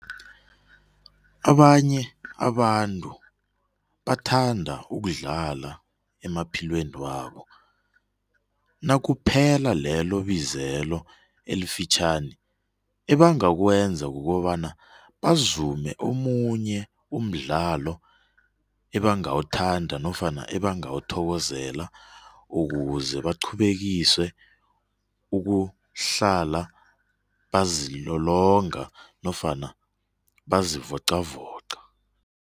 Abanye abantu bathanda ukudlala emaphilweni wabo. Nakuphela lelo bizelo elifitjhani ebangakwenza kukobana bazume omunye umdlalo ebangawuthanda nofana ebangawuthokozela ukuze baqhubekise ukuhlala bazilolonga nofana bazivoqavoqa.